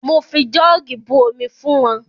Mo fi jọ́ọ̀gì bu omi fún wọn.